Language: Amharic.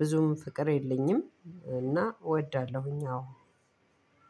ብዙም ፍቅር የለኝም እና እወዳለሁኝ አዎ።